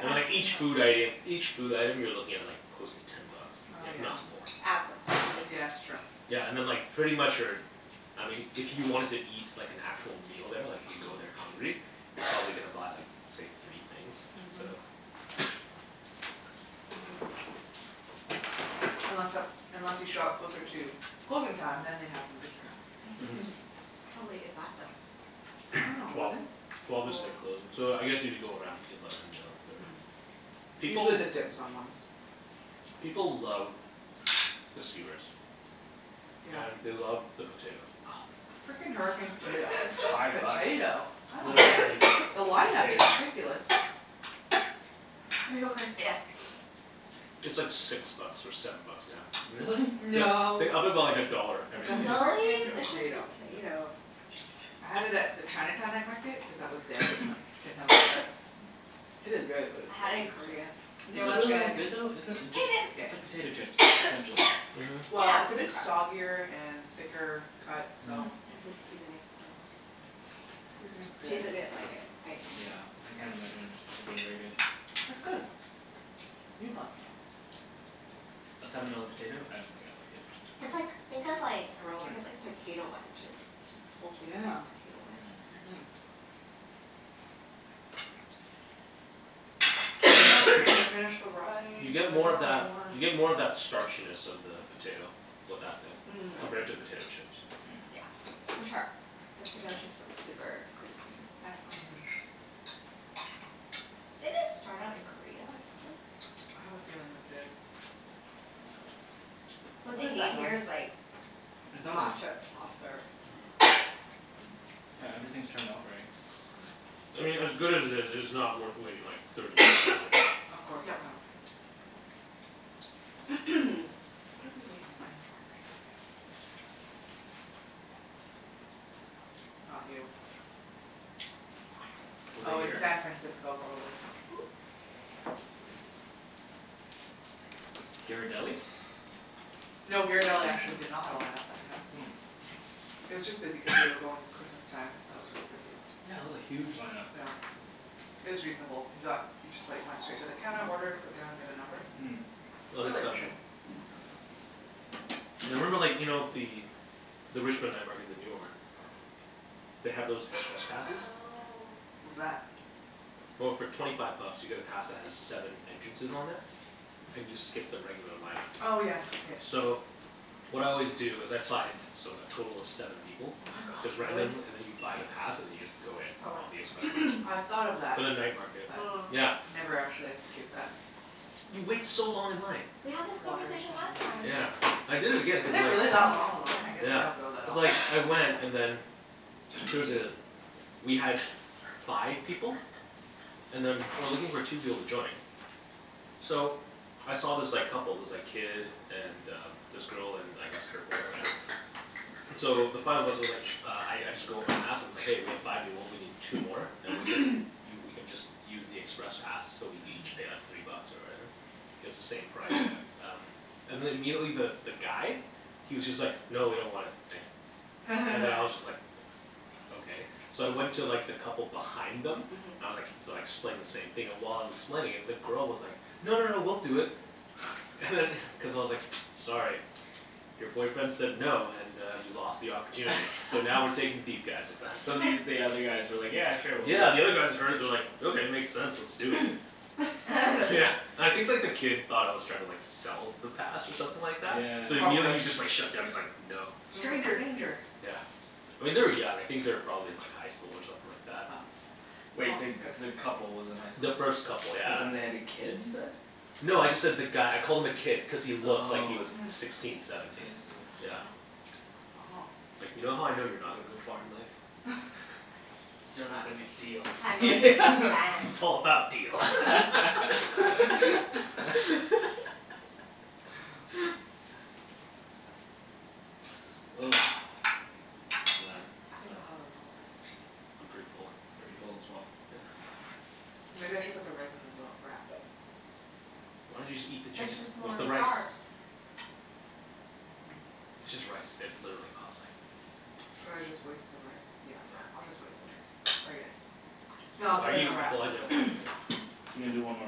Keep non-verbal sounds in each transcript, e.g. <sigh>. And then like each food item, each food item you're looking at like close to ten bucks, Oh if yeah not more. It adds up quickly. Yeah that's true. Yeah, and then like pretty much your, I mean if you wanted to eat like an actual meal there like if you go there hungry, you're probably gonna buy like, say, three things, so. Mhm. Mhm. Unless uh unless you show up closer to closing time then they have some discounts. How late is that I though? dunno, <noise> Twelve. eleven? Twelve is their closing, so I guess if you go around eleven, eleven thirty. People Usually the dim sum ones. People love the skewers. Yeah. And they love the potato. Oh, the freakin hurricane potato It's It's just five bucks. <laughs> potato, I It's don't get literally it. just The a line up is potato. ridiculous. <noise> Are you okay? Yeah. It's like six bucks or seven bucks now. Really? They No. they up it about a dollar every It's a single year. Really? freakin It's just potato. potato. I had it at the Chinatown night market cuz that was dead and like, didn't have a line up. <noise> It is good but it's I still had it in just potato. Korea. It Is it was really that good. good though? Isn't it, it just, it's like It is good. potato chips, essentially Mhm. Well, it's a bit soggier and thicker cut Mm. so. It's the seasoning. Seasoning's good. Jason didn't like it Yeah, I can't <inaudible> imagine it being really good. It's good. You'd like it. A seven dollar potato, I don't think It's I'd like it. like, think of like, I guess like potato wedges, just the whole thing is like Yeah, potato wedge. mhm. We need more chicken to <noise> finish the rice, You get and I more don't of want a that, whole one. you get more of that starchiness of the potato with that thing. Mhm. Compared to potato Really? chips. Yeah, for sure. Cuz potato chips are super crispy. That's not. Mhm. Did it start out in Korea or something? I have a feeling it did. What What they is need that here is noise? like It's nothing. matcha soft serve. <noise> Yeah, everything's turned off already. I Okay. mean as good as it is, it's not worth waiting like thirty minutes in line for. Of course, yeah. What did we <noise> wait in line for recently? Not you. Was it Oh in here? San Francisco probably. Ghirardelli? No, Ghirardelli actually did not have a line up that time. Oh. It was just busy cuz we were going Christmas time, that was really busy. Yeah, it was a huge lineup. Yeah. It was reasonable. We got, we just like went straight to the counter order, sit down, get a number. Mm. I Really like them. efficient. Yeah, I remember like, you know the, the Richmond night market, the newer one, they have those express passes. What's that? Well, for twenty five bucks you get a pass that has seven entrances on there, and you skip the regular line up. Oh yes yes. So what I always do is I find so like, total of seven people. Oh my god, Just really? randomly, and then you buy the pass and then you just go in. For what? On the express I line. thought of that For but the night market. Yeah. Mm. Never actually execute that. You wait so long in line. We had this Water conversation behind last you time. if you Yeah. want some I did it again Is cuz it like really that long, the line? I guess I Yeah, don't go that cuz often. like, I went and then there was a, we had five people and then we were looking for two people to join. So I saw this like couple, this like kid and uh this girl and I guess her boyfriend. So the five of us were like, uh I I just go up and ask, and I was like, "Hey we have five people we need two more and we can, you we can just use the express pass so we each pay like three bucks or whatever, it's the same price." And then immediately the guy he was just like, "No, we don't want it, thanks." And then I was <laughs> just like, "Okay." So I went to like the couple behind them, I was like, so I explained the same thing and while I was explaining it the girl was like, "No, no, no, we'll do it." And then cuz I was like, "Sorry, your boyfriend said no and uh he lost the opportunity." So now we're <laughs> taking these guys with us. So the, you, the other guys were like, "Yeah, sure we'll do it." Yeah, the other guys that heard it they were like, "Okay, it makes sense, let's do it." Yeah, <laughs> I think like the kid thought I was trying to like sell the pass or something like that? So Yeah. immediately he Probably. was just like shutdown, he's like, "No." Stranger danger! Yeah, I mean they were young, I think they were probably in like highschool or something like that. Oh. Wait, the, the couple was in The highschool? first couple But yeah. then they had a kid you said? No, I just said the guy, I called him a kid cuz he looked like he was sixteen, I seventeen. see, I see. Yeah. Uh huh. It's like, "You know how I know you're not gonna to go far in life?" <laughs> You dunno how to make <laughs> yeah, deals. it's all about deals. <laughs> <laughs> Ugh, man I think I'll have a little piece of I'm chicken. pretty full. Pretty full as well. Yeah. Maybe I should put the rice in the roll, wrap. Why don't you just eat the It's chicken just with more the rice. carbs. Mhm. It's just rice, it literally cost like two Should I cents. just waste the rice, yeah, fine, I'll just waste the rice, sorry, guys. No, I'll Why put are it in you a wrap, I want a apologizing to wrap. him? You're gonna do one more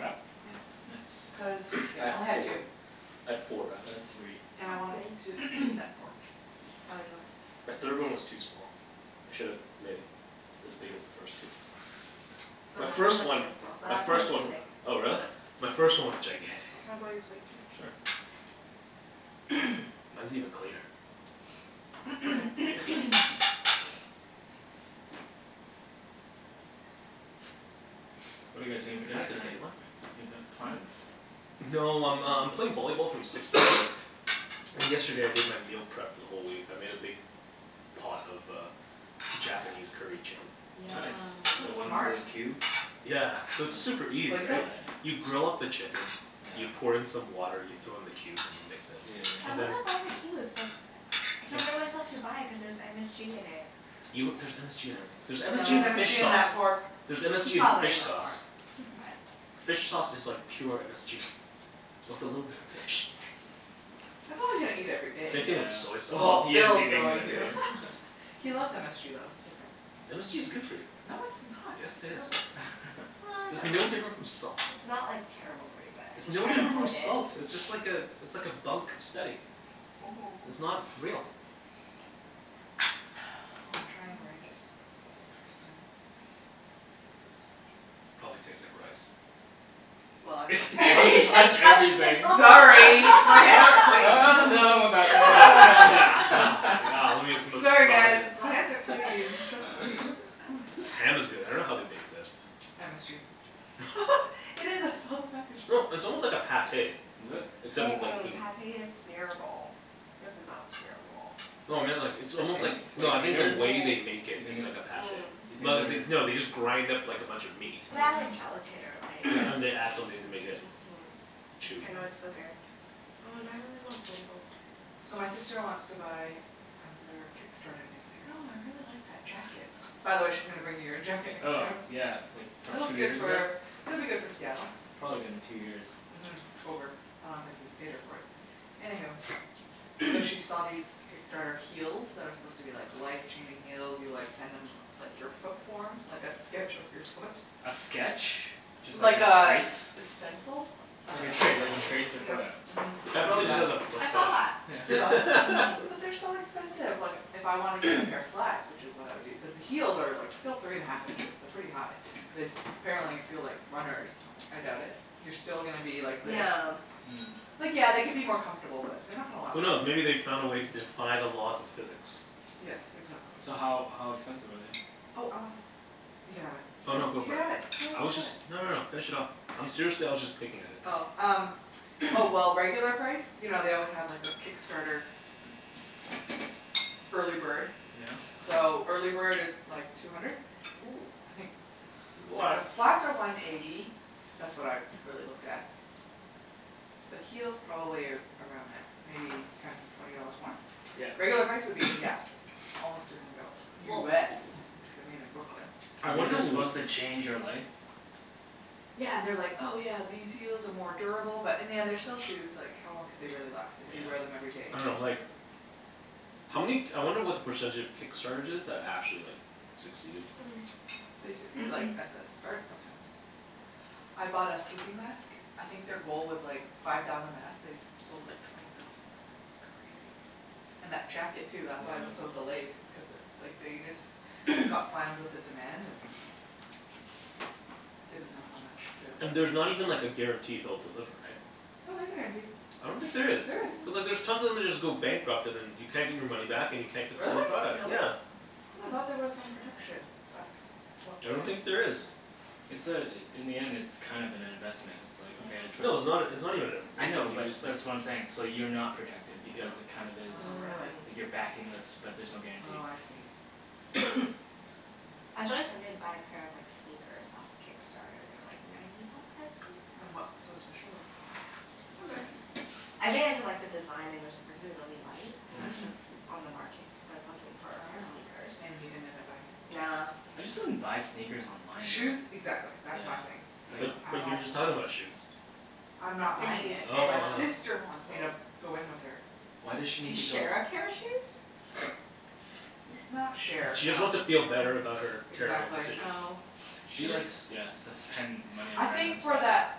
wrap? Yep Cuz Nice. I yeah, I had only had four, two. I had four wraps. I had three. And I I wanted to had three. eat that pork. The third one was too small. I should've made it as big as the first two. My My last one first was one, really small, my first one, oh but. <inaudible> really? My first one was gigantic. Can I borrow your plate please? Sure. Mine's even cleaner. Okay, I'll take this. Thanks. What are you guys doing for dinner Pass the tonight? dirty one? Do you have a, plans? No, I'm um playing volleyball from six to eight. And yesterday I did my meal prep for the whole week. I made a big pot of uh Japanese curry chicken. Yum. Nice. The That's one's that smart. are cubed? Yeah, so it's super easy, Glico? right? You grill up the chicken, you pour in some water, you throw in the cubes, and you mix it. Yeah I yeah And then wanna yeah. buy the cubes but I can't bring myself to buy it cuz there's MSG in it. You, there's MSG in everything. There's MSG Threre's No. in MSG fish in that sauce. pork There's MSG in Probably fish in the sauce. pork, but. Fish sauce is like pure MSG, with a little bit of fish. As long as you don't eat it every day. Same Yeah. thing with soy Oh, sauce. Well he is Phil's eating it going every to. day. <laughs> He loves MSG though, it's different. MSG is good for you. No, it's not. Yes, It's it is. terrible. Well, I There's don't no know. difference from salt. It's not like terrible for you but I It's no try to different from avoid it. salt! It's just like uh it's like a bunk steady. It's Mhm. not real. Well, I'm trying rice, for the first time. Probably tastes like rice. Well <laughs> Sorry, my hands No are clean. no, no, I don't want that. Yeah, lemme just <laughs> Sorry massage guys, it. my hands are clean, trust me. This ham is good. I dunno how they make this. MSG. No, <laughs> <inaudible> it's almost like a Pâté. Is it? Except Mm- it's like mm, meat. Pâté is smearable, this is not smearable. No, I mean like, it's almost like, no I The mean the innards? way they Do make you it is like think, a do Pâté. you Mm. Well, they, think they, no they're they just grind up like a bunch of meat. Well, they add like Mm. gelatin or Yeah, and like they add something to make it Mhm, chewy. I know it's so good. Oh now I really want Ben Bo So my Hui. sister wants to buy another Kickstarter thing, she's like, "Oh I really like that jacket." By the way she's gonna bring you your jacket next Oh time. yeah, like from It'll be two good years ago? for, it'll be good for Seattle. It's probably been two years. Mhm. Over, I don't think he's paid her for it. Anywho. So she saw these Kickstarter heels that are supposed to be like life-changing heels, you like send them like your foot form, like a sketch of your foot. A sketch? Just like Like a a, trace? a stencil? I Like a dunno tra- like you trace your foot Mhm. The out. guy You do prolly just that. has a foot I saw that. fetish. You saw it? Mhm. <laughs> But they're so expensive, like if I want to get a pair of flats, which is what I would do cuz the heels are like still three and half inches, they're pretty high, and this apparently feel like runners, I doubt it. You're still gonna be like this Yeah. Like yeah, they could be more comfortable but they're not gonna last Who forever knows, maybe they found a way to defy the laws of physics. Yes, exactly. So how, how expensive are they? Oh I want some, you can have it. Oh no, go You for can it. have it. Phil, you I can was have just, it. no no no, finish it off. I'm seriously, I was just picking at it. Oh, um, oh well, regular price, you know they always have like the Kickstarter early bird. Yeah. So, early bird is like two hundred? Woo. I think The What flats are one eighty, that's what I really looked at. The heels probably around there, maybe ten twenty dollars more? Yeah. Regular price would be yeah, almost three hundred dollars. Whoa. US, cuz they're made in Brooklyn. I These wonder are w- supposed to change your life? Yeah, and they are like, "Oh yeah, these heels are more durable" but in the end they're still shoes, like how long could they really last if you wear them everyday. I dunno like, how many k- I wonder what the percentage of Kickstarters is, that actually like succeeded. Hmm. They succeed like at the start sometimes. I bought a sleeping mask, I think their goal was like five thousand masks, they sold like twenty thousand, it's crazy. And that jacket too that's why it was so delayed cuz like they just got slammed with the demand and didn't know how much to And there's not even like a guarantee they'll <inaudible> deliver, right? No, there's a guarantee. I don't think there is. There is. Cuz like there's tons of them just go bankrupt and then you can't get your money back and you can't get Really? your product. Really? Yeah. I thought there was some protection, that's what I don't I've think there is. It's uh in the end it's kind of an investment, it's like, "Okay, I'll try- No, it's " not, it's not even an inv- I it's know like, you but that's what I'm saying, just like so you're not protected Yeah because it kind of is, Oh really. you're backing this but there's no guarantee. Oh I see. I was really tempted to buy a pair of like, sneakers off Kickstarter. They were like ninety bucks, I think? And what's so special about them? I think I just like the design and they're supposed to be really light. And that's Mhm. just l- on the market, I was looking for a pair of Oh, sneakers. and you didn't end up buying it? Nah. I just wouldn't buy sneakers online Shoes though. exactly, that's my thing. But, I but you were don't just like talking about shoes. I'm not But buying you it. send Oh. My um sister wants me to go in with her. Why does she To need to go share a pair of shoes? Not share, She just no. wants to feel better about her terrible Exactly. decision. Oh. She likes, yeah, s- to spend money I on random think for stuff. that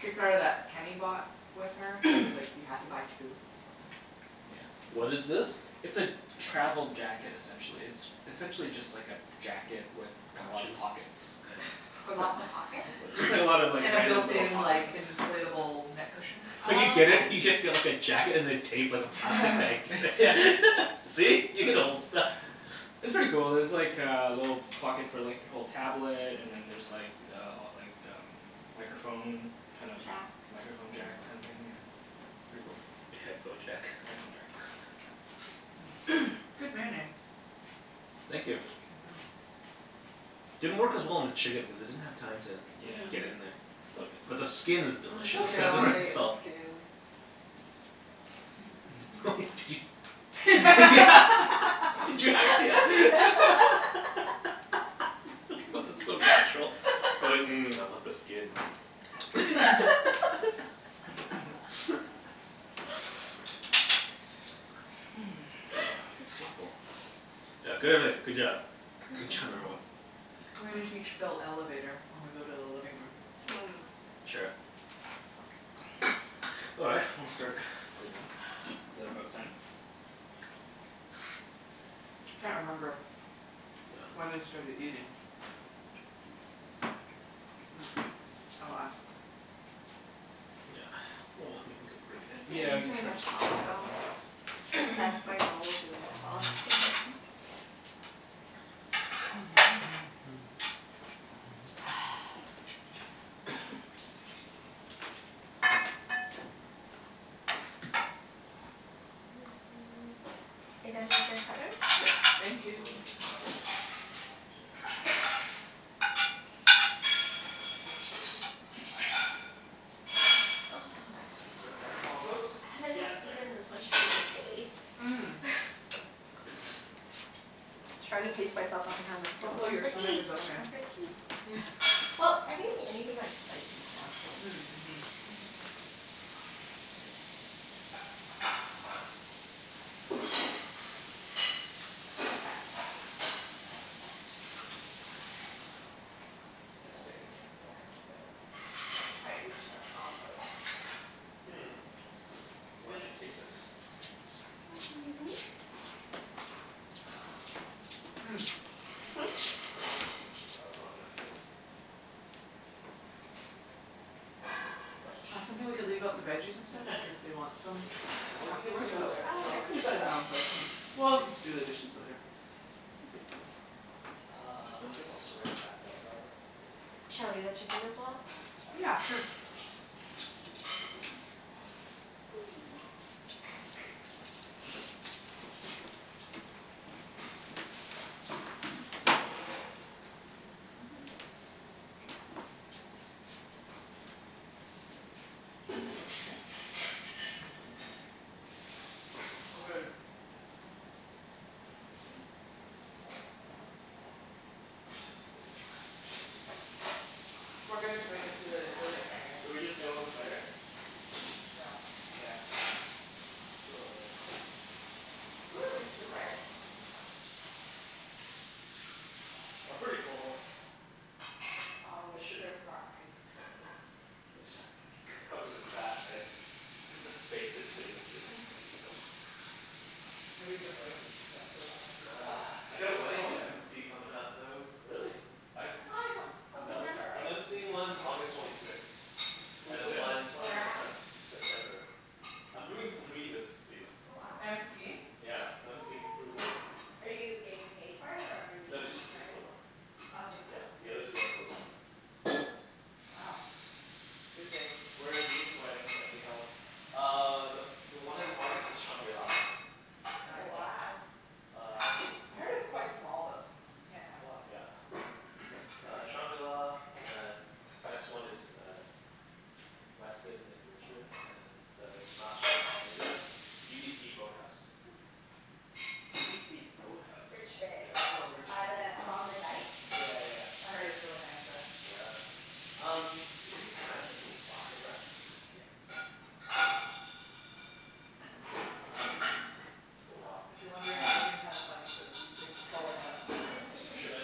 Kickstarter that Kenny bought with her, cuz like you have to buy two or something. What Yeah. is this? It's a travel jacket essentially. It's essentially just like a jacket with a lot of Pouches? pockets. Okay. With lots of pockets? Just like, just like a lot of like, And the random built little in pockets. like inflatable neck cushion? When you Oh get it, you just okay. get like a jacket and they tape like a plastic bag like yeah, see? <laughs> You can hold stuff. It's pretty cool. There's like uh a little pocket for like, you hold tablet and then there's like uh like um microphone kind of Jack? Microphone jack kinda thing yeah. Pretty cool. A headphone jack? Headphone jacked, yeah. Good marinade. Thank you. Mhm. Didn't work as well on the chicken because it didn't have time to Yeah. get in there. Still But the good. skin is Mm, delicious. It and I has want more to eat the salt. skin. <laughs> Did you <laughs> Did you Yeah <laughs> <inaudible> <laughs> What the, so natural, you're like, "Mmm, I want the skin." <laughs> Ah, so full. Yeah, good everything, good job. Good job everyone. We're gonna teach Phil Elevator when we go to the living room. Mm. Sure. All right, I'm gonna start cleaning up. Is that about time? Can't remember When we Yeah. started eating. I'll ask. Yeah, well, I mean we could You bring it in. guys didn't Yeah, we use can very start much to bring sauce at stuff all. in. I dunked my rolls in the sauce, they're like Are you done with your cutleries? Yeah, thank We'll you. load the dishwasher. I'm so full. Just, that's compost? I haven't Yeah, had, it's right eaten this much here. Sweet. food in days. Mm. Trying to pace myself the whole time like, don't Hopefully your stomach overeat, is don't okay. overeat. Well, I didn't eat anything like spicy so. Mm mhm. Just stick it in there. Yep. Okay. I can't quite reach the compost. Hmm, maybe I should take this. Well, that's not gonna fit. That's what she I said. think we could leave out the veggies and stuff in case <laughs> they want some I wasn't gonna afterwards go so there, Oh We Phil. okay. can just clean our own plates <laughs> and we'll do the dishes later. No big deal. Uh, I guess I'll saran wrap it up probably. Shall I leave the chicken as well? Yeah, sure. We're good to move into the living area. Should we just deal with this later? Yeah. Yeah, it's fine. We'll deal with it later. Ooh, there's dessert! I'm pretty full. There's always room for ice cream. It just, cover the cracks, right, the space between the food. Should Maybe we just soak rinse, these? yeah soak that Ugh, I right got in. a Whose wedding phone to is MC comin' that? up, though. Really? I thought it was a, till September, I'm right? MCing one August twenty sixth, and Who's then this? one One Where of your at? friends? September. I'm doing three this season. Oh wow. MCing? Yeah, I'm MCing three weddings. Are you getting paid for it or are you No, doing it just, for just the friends? one. Oh just Yeah, that one. the other two are close friends. Wow. Busy. Where are these weddings gonna be held? Uh the, the one in August is shangri-la. Mm Nice. wow. Uh I heard it's quite small though, like you can't have a lot of Yeah. people. Uh shangri-la and then next one is uh Westin in Richmond and then uh last one is UBC boathouse. UBC boathouse? Yeah, Richmond. it's Oh in By Richmond, yes. the, along the Rich- dike? Yeah yeah. I heard it's really nice there. Yeah. Um, Susie, can I get some plastic wrap? Yes. Oh wow. If you're wondering, I'm moving kinda funny cuz these things are falling out. Here, just push'em in.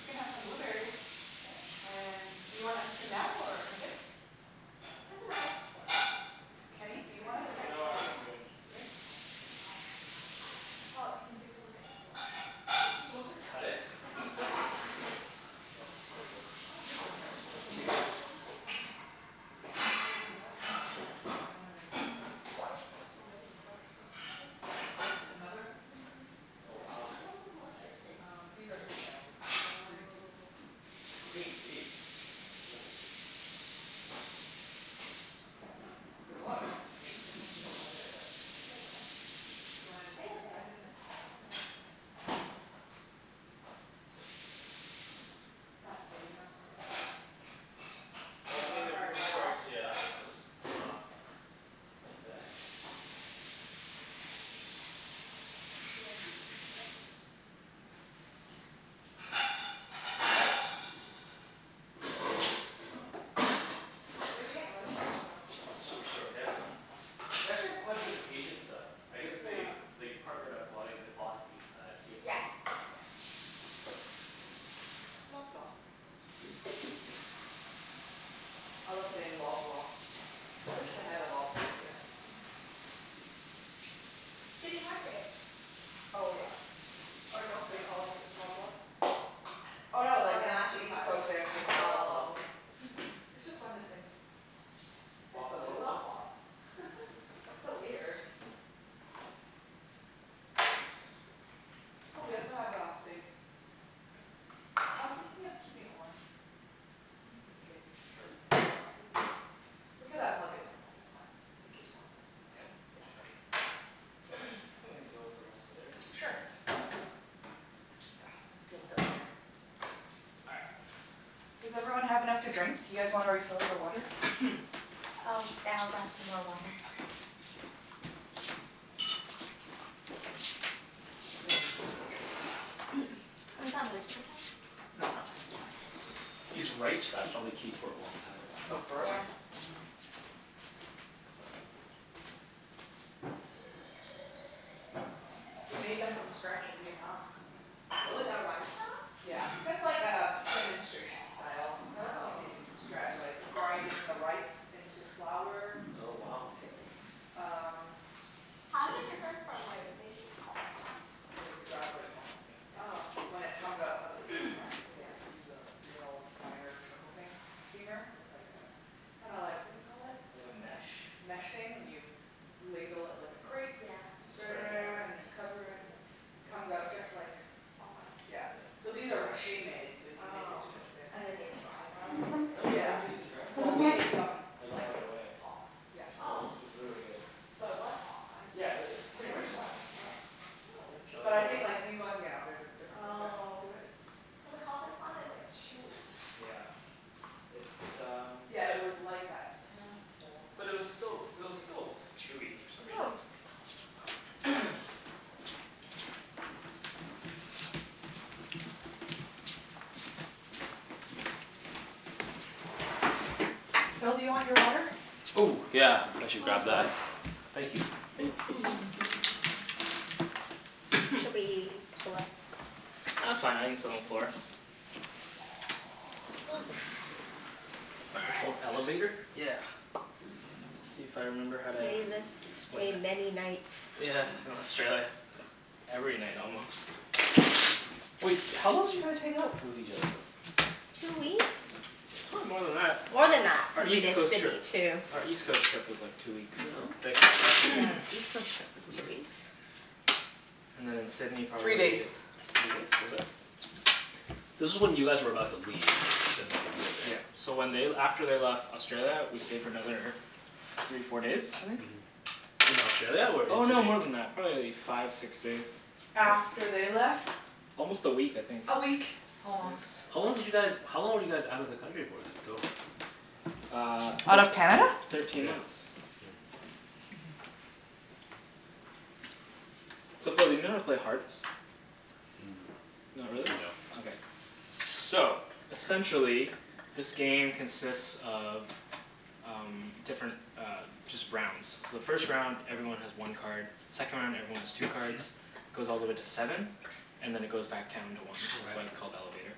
We can have some blueberries. And do you want ice cream now or in a bit? Doesn't matter. Kenny, do I you want ice can wait. cream? No, I think I'm good. Good? Okay. Well, you can take a look at the Is this supposed selection. to cut it? Oh, there we go. Oh here's the shrimp. Cookies n cream. And then there's Oh so many Butterscotch maple? Another cookies n cream Oh wow. Why do you guys have so much ice cream Um these are his family's. Green tea. Oh. Green tea? Whoa. I'ma try this. Oh, there's a lot of cookies n cream, this one's a bit lighter but there's still so much. You wanna In a bit, decide in a bit? I'll do it in a bit. What's that plate out for? Oh, it Well, I doesn't mean it work wor- very it well. works yeah, it was just not the best. Where should I be, just put it in the containers. Where d'you get lemongrass from, Superstore? Superstore, yeah. They actually have quite a bit of Asian stuff. I guess they they partnered up, well, they bought a uh T&T. Yeah, yeah. Loblaw. I love saying Loblaw. I wish they had a Loblaws here. City Market. Oh yeah. Or No They Frills. call it Loblaws? Oh Oh no they, no in actually East Coast they actually <inaudible> call it Loblaws Oh. It's just fun to say. Let's go to Loblaws. That's so weird. Oh we also have uh figs. I was thinking of keeping it warm in case people want it. We could unplug it though, that's fine. It keeps warm Yeah? enough. Yeah. Sure Think we can deal with the rest later. Sure. Yeah, let's deal with it later. All right. Does everyone have enough to drink? You guys wanna refill your water? Oh, yeah I'll grab some more water. Okay. I didn't use my chopsticks. <noise> Oh, is that my paper towel? No I think it's mine. These rice wraps probably keep for a long time. Oh Yeah. forever. Mhm. We made them from scratch in Vietnam. Really? The rice wraps? Yeah, just like um demonstration style. They Oh. make it from scratch like the grinding the rice into flour Oh It's wow. crazy. Um How's it different from like making Ho Fun? It's exactly like Ho Fun, Yeah. yeah. Oh. When it comes out of the steamer, they like use a real fire trickle thing steamer? With like a, kinda like what do you call it? Like a mesh? Mesh thing, and you ladle it like a crepe Yeah Spread it around and then you That's cover pretty it, cool it comes out just like Ho Fun? Yeah. So these are machine-made so you can make it Oh. super thin. And then they dry them and then No, you they? don't Yeah. even need to dry them. Well we ate them Like like right away. Ho fun. Yeah It was, Oh. it was really good. So it was Ho Fun. Yeah, it, it's pretty much Pretty like Ho much, yeah. Fun. But Oh. I think like these ones yeah there's a different process Oh. to it. Cuz like Ho Fun's not as like chewy. Yeah, it's um Yeah it was like that Ho Fun But it was still, it was consistency still chewy for some reason. Phil, do you want your water? Oh yeah, I should I'll grab fill it. that Thank you. Should we pull up Ah, that's fine. I can sit on the floor. It's called Elevator? Yeah. Let's see if I remember how to Played this explain game it. many nights Yeah, in Australia. Every night almost. Wait, how long did you guys hang out with each other for? Two weeks? Probably more than that. More than that. Our Cuz we East did Coast trip Sydney too. Our East Coast trip was like two weeks Here you go. Thank you. Yeah. East Coast trip was two weeks. And then in Sydney Three days. probably Three days? Was it? This is when you guys were about to leave Sydney for good, Yeah, so right? when they l- after they left Australia, we stayed for another f- three, four days, I think? Mhm. In Australia or in Oh no, Sydney? more than that. Probably like five, six days. After they left? Almost a week I think. A week, almost. How long did you guys, how long were you guys out of the country for then, total? Uh Out of Canada? Thirteen months. So Phil do you know how to play Hearts? Mm. Not really? No. Okay. So essentially, this game consists of um different uh, just rounds. So the first round everyone has one card, second round everyone has two cards, goes all the way to seven, and then it goes back down to one. That's Okay. why it's called Elevator.